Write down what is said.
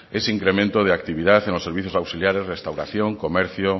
es incremento de actividad en los servicios auxiliares restauración comercio